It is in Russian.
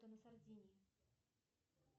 на сардинии